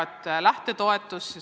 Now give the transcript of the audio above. Kõigepealt lähtetoetus.